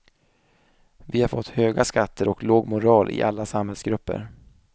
Vi har fått höga skatter och låg moral i alla samhällsgrupper.